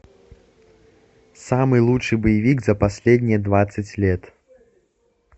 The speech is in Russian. самый лучший боевик за последние двадцать лет